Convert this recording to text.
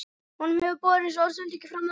Honum hefur borist orðsending frá manni þínum.